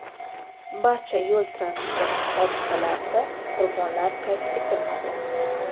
Barcha yo‘l-transport hodisalarida qurbonlar qayd etilmadi.